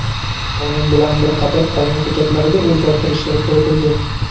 Qonun bilan bir qator qonun hujjatlariga o‘zgartirishlar kiritildi.